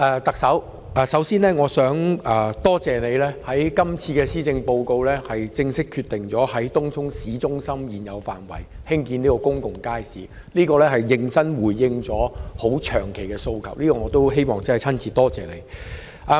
特首，首先我想多謝你在今次的施政報告內正式決定在東涌市中心現有的範圍內興建公共街市，此舉是認真地回應了一個長久以來的訴求，我希望就此親身感謝你。